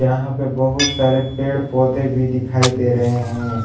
यहां पे बहुत सारे पेड़ पौधे भी दिखाई दे रहे हैं।